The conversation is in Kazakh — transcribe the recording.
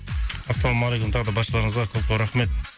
ассалаумағалейкум тағы да баршаларыңызға көп көп рахмет